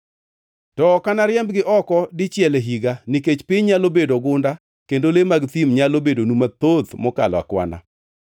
To ok anariembgi oko dichiel e higa, nikech piny nyalo bedo gunda kendo le mag thim nyalo bedonu mathoth mokalo akwana.